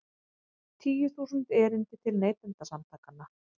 Tíu þúsund erindi til Neytendasamtakanna